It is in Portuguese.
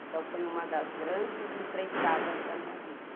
Então foi uma das grandes empreitadas da minha vida.